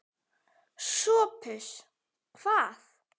SOPHUS: Hvað?